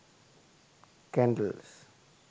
candles